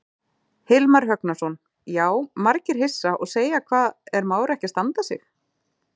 Hilmar Högnason: Já, margir hissa og segja hvað er Már ekki að standa sig?